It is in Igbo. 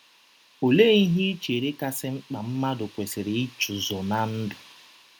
Ọlee ihe i chere kasị mkpa mmadụ kwesịrị ịchụso ná ndụ?